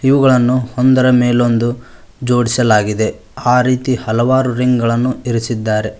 ಇವುಗಳನ್ನು ಒಂದರ ಮೇಲೊಂದು ಜೋಡಿಸಲಾಗಿದೆ ಆ ರೀತಿ ಹಲವಾರು ರಿಂಗಳನ್ನು ಇರಿಸಿದ್ದಾರೆ.